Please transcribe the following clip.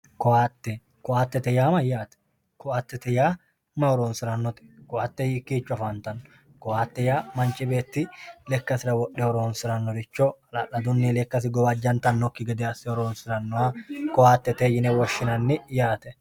koaatte, koaattete yaa mayyaate? koaattete yaa may horonsi'rannote? koaatte hiikkicho afantanno? koaatte yaa manchu beetti lekkasira wodhe horonsi'rannoricho halaaladunni lekasi gawajjantanokki gede asse horonsi'rannoha koaattete yine woshshinanni yaate.